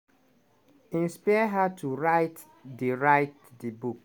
inspire her to write di write di book.